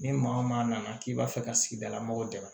Ni maa o maa nana k'i b'a fɛ ka sigidalamɔgɔ dɛmɛ